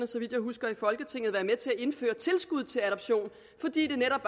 så vidt jeg husker at indføre tilskud til adoption fordi det netop